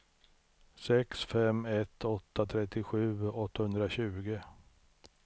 sex fem ett åtta trettiosju åttahundratjugo